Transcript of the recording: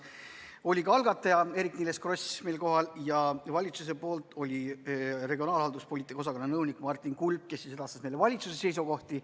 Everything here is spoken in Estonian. Kohal olid ka algataja Eerik-Niiles Kross ja valitsuse esindajana Rahandusministeeriumi regionaalhalduspoliitika osakonna nõunik Martin Kulp, kes edastas meile valitsuse seisukohti.